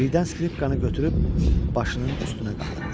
Birdən skripkanı götürüb başının üstünə qaldırdı.